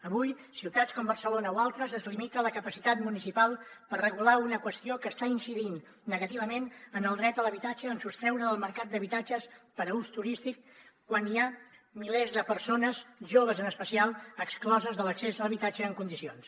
avui a ciutats com barcelona o altres es limita la capacitat municipal per regular una qüestió que està incidint negativament en el dret a l’habitatge en sostreure del mercat habitatges per a ús turístic quan hi ha milers de persones joves en especial excloses de l’accés a l’habitatge en condicions